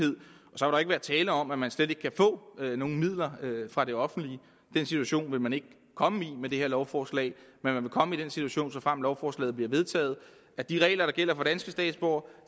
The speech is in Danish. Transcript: så jo ikke være tale om at man slet ikke kan få nogen midler fra det offentlige den situation vil man ikke komme i med det her lovforslag men man vil komme i den situation såfremt lovforslaget bliver vedtaget at de regler der gælder for danske statsborgere